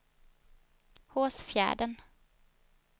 Hårsfjärden